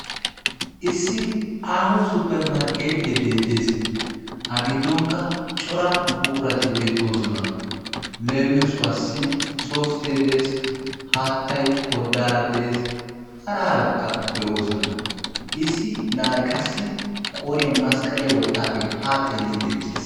Issi aaho supper markkeettee beettees. A giddonkka cora buqurati beettoosona. Leemissuwaassi softe dees haattay koddaara dees hara harabatikka beettoosona issi na'ay qassi qooriyan masqqaliya wottaagee haa xeelliiddi eqqiis.